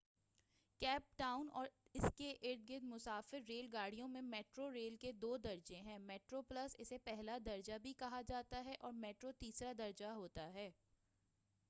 cap Town اور اسکے ارد گرد مسافر ریل گاڑیوں میں میٹرو ریل کے دو درجہ ہیں : میٹرو پلس اسے پہلا درجہ بھی کہا جاتا ہے اور میٹرو تیسرا درجہ ہوتا ہے-